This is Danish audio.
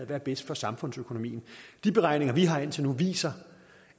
der er bedst for samfundsøkonomien de beregninger vi har set indtil nu viser